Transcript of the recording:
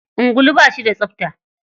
Ungulu ba shi da tsapta.